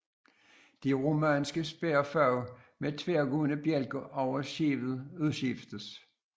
De romanske spærfag med tværgående bjælker over skibet udskiftes